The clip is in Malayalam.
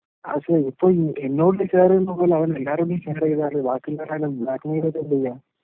അതിപ്പോ ഇപ്പോൾ എന്നോട് ഷെയർ ചെയ്യുന്നത് പോലെ അവർ എല്ലാരോടും ഷെയർ ചെയ്താലോ ബ്ലാക്‌മെയ്ൽ ഒക്കെ ചെയ്യാം.